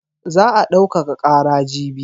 Za a daukaka ƙara jibi.